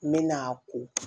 N mɛna a ko